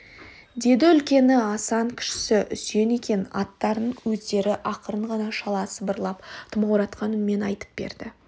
деді үлкені асан кішісі үсен екен аттарын өздері ақырын ғана шала сыбырлап тымауратқан үнмен айтып берді